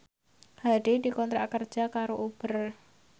Hadi dikontrak kerja karo Uber